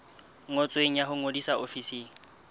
ngotsweng ya ho ngodisa ofising